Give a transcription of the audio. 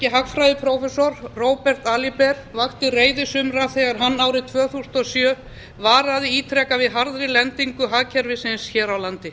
hagfræðiprófessor robert aliber vakti reiði sumra þegar hann árið tvö þúsund og sjö varaði ítrekað við harðri lendingu hagkerfisins hér á landi